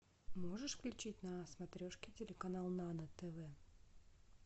можешь включить на смотрешке телеканал нано тв